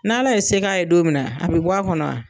N'Ala ye se k'a ye don min na , a be bɔ a kɔnɔ wa?